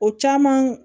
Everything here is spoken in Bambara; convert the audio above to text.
O caman